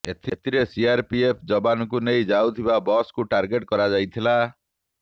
ଏଥିରେ ସିଆର୍ପିଏଫ୍ ଯବାନଙ୍କୁ ନେଇ ଯାଉଥିବା ବସ୍କୁ ଟାର୍ଗେଟ୍ କରାଯାଇଥିଲା